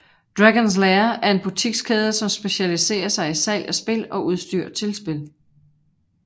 Dragons Lair er en butikskæde som specialiserer sig i salg af spil og udstyr til spil